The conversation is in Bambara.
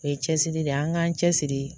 O ye cɛsiri de ye, an k'an cɛsiri